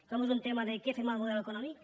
com ho és el tema de què fem amb el model econòmic